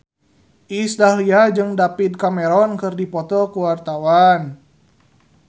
Iis Dahlia jeung David Cameron keur dipoto ku wartawan